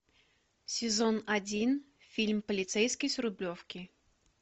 сезон один фильм полицейский с рублевки